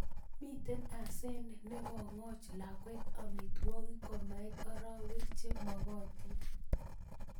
Mitei asenet ngekoch lakwet amitwogik komait oroek che mokotin